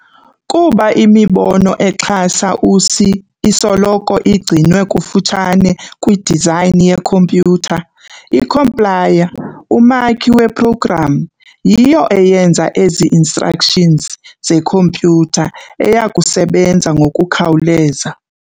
Kuba imibono exhasa u-C isoloko igcinwe kufutshane kwi-design ye-compyutha, i-compiler, umakhi we-program, yiyo eyenza ezi-instructions zekhompyutha eyakusebenza ngokukhawuleza.